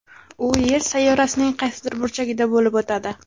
U Yer sayyorasining qaysidir burchagida bo‘lib o‘tadi.